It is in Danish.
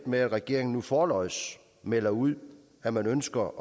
med at regeringen nu forlods melder ud at man ønsker